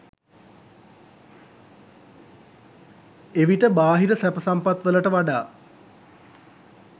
එවිට බාහිර සැප සම්පත් වලට වඩා